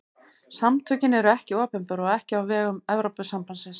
Samtökin eru ekki opinber og ekki á vegum Evrópusambandsins.